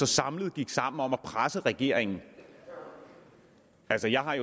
samlet gik sammen om at presse regeringen altså jeg har